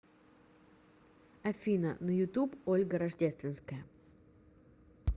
афина на ютуб ольга рождественская